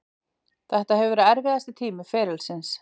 Þetta hefur verið erfiðasti tími ferilsins.